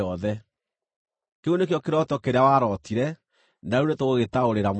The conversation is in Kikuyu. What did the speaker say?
“Kĩu nĩkĩo kĩroto kĩrĩa warootire, na rĩu nĩtũgũgĩtaũrĩra mũthamaki.